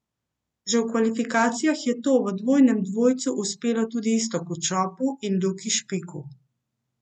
Že v kvalifikacijah je to v dvojnem dvojcu uspelo tudi Iztoku Čopu in Luki Špiku.